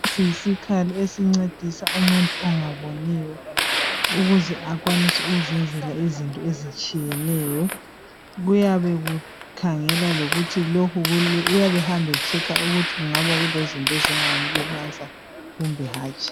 Lesi yisikhala esingcedisa umuntu ongaboniyo ukuze akwanise ukuzenzela izinto ezitshiyeneyo, kuyabe kukhangela, ehamba echecker ukuthi ngabe kulezinto ezingamlimaza kumbe hatshi.